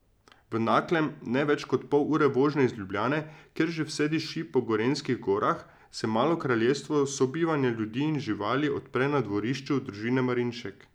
V Naklem, ne več kot pol ure vožnje iz Ljubljane, kjer že vse diši po gorenjskih gorah, se malo kraljestvo sobivanja ljudi in živali odpre na dvorišču družine Marinšek.